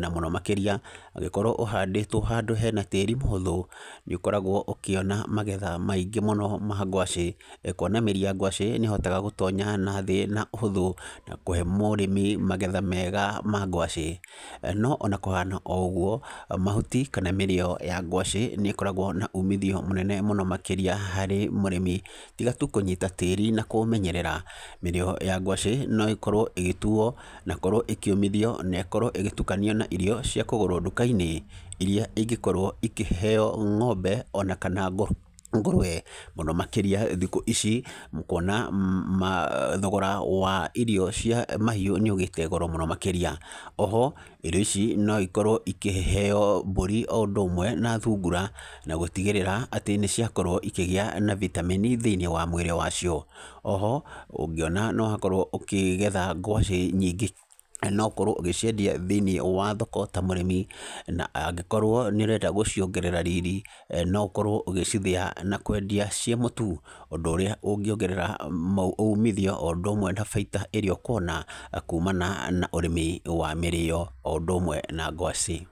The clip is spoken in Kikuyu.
Na mũno makĩria, angĩkorwo ũhandĩtwo handũ hena tĩri mũhũthũ, nĩ ũkoragwo ũkĩona magetha maingĩ mũno ma ngwacĩ. Kuona mĩri ya ngwacĩ nĩ ĩhotaga gũtonya nathĩ na ũhũthũ, na kũhe mũrĩmi magetha mega ma ngwacĩ. No ona kũhana o ũgũo, mahuti kana mĩrĩo ya ngwacĩ, nĩ ĩkoragwo na uumithio mũnene mũno makĩria harĩ mũrĩmi. Tiga tu kũnyita tĩri na kũũmenyerera, mĩrĩo ya ngwacĩ no ĩkorwo ĩgĩtuuo, na gũkorwo ĩkĩũmithio na korwo ĩgĩtukanio na irio cia kũgũrwo nduka-inĩ, irĩa ĩngĩkorwo ikĩheeo ng'ombe, ona kana ngũrũwe. Mũno makĩria thikũ ici, kuona thogora wa irio cia mahiũ nĩ ũgĩĩte goro mũno makĩria. Oho, irio ici no ikorwo ikĩheeo mbũri o ũndũ ũmwe na thungura, na gũtigĩrĩra, atĩ nĩ ciakorwo ikĩgĩa na vitamin thĩiniĩ wa mwĩrĩ wa cio. Oho, ũngĩona nĩ wakorwo ũkĩgetha ngwacĩ nyingĩ no ũkorwo ũgĩciendia thĩiniĩ wa thoko ta mũrĩmi, na angĩkorwo nĩ ũrenda gũciongerera riri, no ũkorwo ũgĩcithĩa na kwendia ciĩ mũtu. Ũndũ ũrĩa ũngĩongerera umithio o ũndũ ũmwe na baita ĩrĩa ũkuona, kumana na ũrĩmi wa mĩrĩo o ũndũ ũmwe na ngwacĩ.